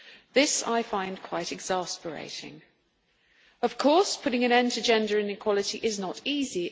This I find quite exasperating. Of course, putting an end to gender inequality is not easy.